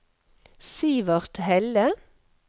Sivert Helle